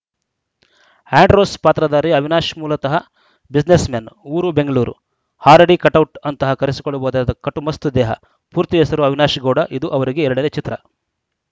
Andrews ಪಾತ್ರಧಾರಿ ಅವಿನಾಶ್‌ ಮೂಲತಃ businessman ಊರು ಬೆಂಗಳೂರು ಆರಡಿ ಕಟೌಟ್‌ ಅಂತ ಕರೆಸಿಕೊಳ್ಳಬಹುದಾದ ಕಟ್ಟುಮಸ್ತು ದೇಹ ಪೂರ್ತಿ ಹೆಸರು ಅವಿನಾಶ್‌ ಗೌಡ ಇದು ಅವರಿಗೆ ಎರಡನೇ ಚಿತ್ರ